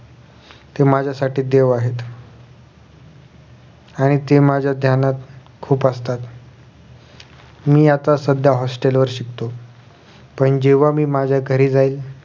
ते माझ्यासाठी देव आहेत आणि ते माझ्या ध्यानात खुप असतात मी आता सध्या hostel वर शिकतो पण जेव्हा मी माझ्या घरी जाईन